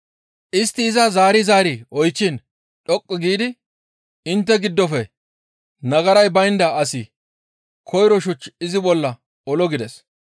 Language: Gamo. Istti iza zaari zaari oychchiin dhoqqu giidi, «Intte giddofe nagaray baynda asi koyro shuch izi bolla olo» gides.